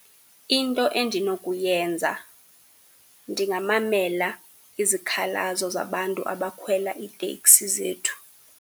Into endinokuyenza ndingamamela izikhalazo zabantu abakhwela iiteksi zethu.